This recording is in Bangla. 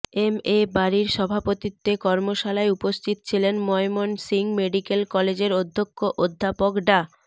এম এ বারীর সভাপতিত্বে কর্মশালায় উপস্থিত ছিলেন ময়মনসিংহ মেডিক্যাল কলেজের অধ্যক্ষ অধ্যাপক ডা